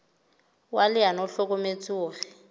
wa leano o hlokometse hore